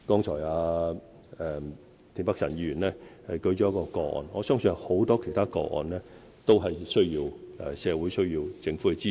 田北辰議員剛才舉了一宗個案，我相信還有很多其他個案，需要社會和政府的支持。